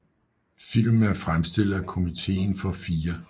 Filmen er fremstillet af Komiteen for 4